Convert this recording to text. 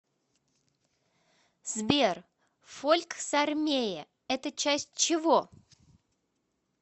сбер фольксармее это часть чего